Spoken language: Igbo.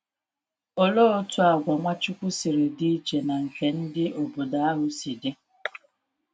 Olee otú àgwà Nwachukwu siri dị iche na nke ndị obodo ahụ si dị!